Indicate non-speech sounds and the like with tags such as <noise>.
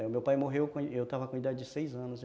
O meu pai morreu <unintelligible> eu estava com a idade de seis anos.